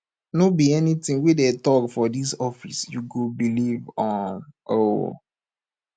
no be anytin wey dem tok for dis office you go believe um o